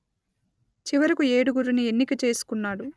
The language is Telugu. చివరకు ఏడుగురిని ఎన్నిక చేసుకొన్నాడు